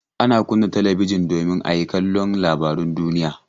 Ana kunna talabijin domin a yi kallon labarun duniya.